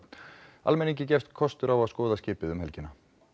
almenningi gefst kostur á að skoða skipið um helgina